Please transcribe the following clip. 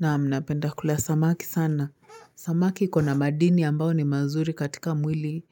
Naam napenda kula samaki sana. Samaki ikona madini ambayo ni mazuri katika mwili.